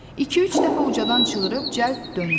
İki-üç dəfə ucadan çığırıb cəld döndü.